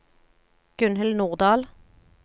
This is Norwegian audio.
Gunhild Nordal